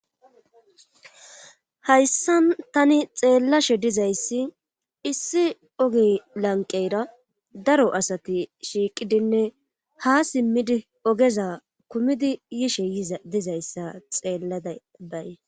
hayssa tani xeellashe dizayssi issi ogi lanqeyra daro asati shiiqidinne ha simmidi ogeza kumidi yishe dizayssa xeellada baye